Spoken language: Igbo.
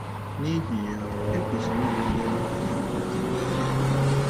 N’ihi ya, e kwesịrị ịbulie aha ya na nzube ya elu.